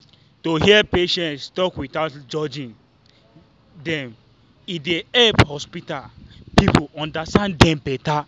to hear patients talk without judging dem e dey help hospital people understand dem better.